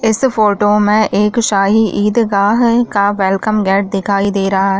इस फोटो में एक शाही ईदगाह का वेलकम गेट दिखाई दे रहा हैं।